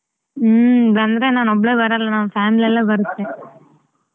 ಹ್ಮ್ ಅಂದ್ರೆ ನಾನ್ ಒಬ್ಳೆ ಬರಲ್ಲ ನಮ್ family ಎಲ್ಲ ಬರುತ್ತೆ.